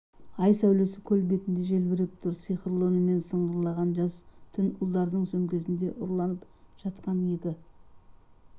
ай сәулесі көл бетінде желбіреп тұр сиқырлы үнімен сыңғырлаған жас түн ұлдардың сөмкесінде ұрланып жатқан екі